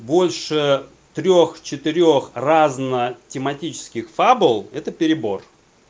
больше трёх четырёх разных тематических фабл это перебор